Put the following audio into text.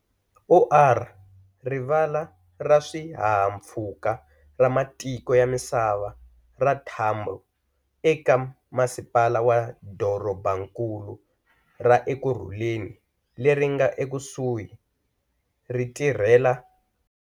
OR Rivala ra Swihahampfhuka ra Matiko ya Misava ra Tambo eka Masipala wa Dorobankulu ra Ekurhuleni leri nga ekusuhi ri tirhela.